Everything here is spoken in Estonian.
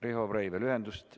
Riho Breivel, ühendust ...